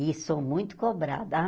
E sou muito cobrada. Ah